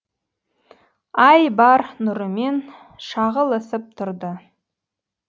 ай бар нұрымен шағылысып тұрды